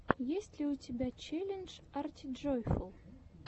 есть ли у тебя челлендж артиджойфул